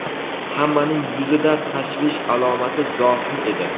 hammaning yuzida tashvish alomati zohir edi.